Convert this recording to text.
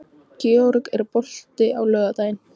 Georg, er bolti á laugardaginn?